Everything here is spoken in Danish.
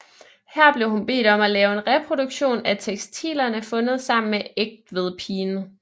Her blev hun bedt om at lave en reproduktion af tekstilerne fundet sammen med Egtvedpigen